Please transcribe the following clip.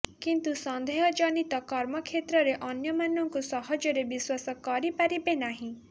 କିନ୍ତୁ ସନ୍ଦେହ ଜନିତ କର୍ମକ୍ଷେତ୍ରରେ ଅନ୍ୟମାନଙ୍କୁ ସହଜରେ ବିଶ୍ୱାସ କରି ପାରିବେ ନାହିଁ